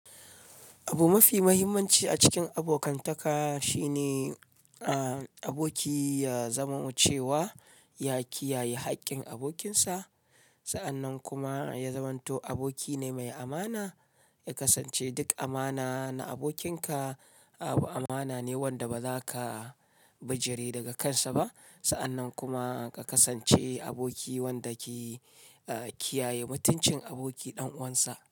Abu mafi muhimmanci a cikin abokantaka shine, a aboki ya zamo cewa ya kiyaye haƙƙin abokinsa, sa'annan kuma ya zamanto aboki ne mai amana. Ya kasance duk amana na abokinka abu amana ne wanda ba zaka bijire daga kansa ba sa'annan kuma ka kasance aboki wanda ke kiyaye mutuncin aboki ɗan uwansa.